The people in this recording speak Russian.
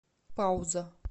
пауза